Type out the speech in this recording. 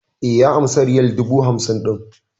E, ya amsa riyal dubu hamsin ɗin.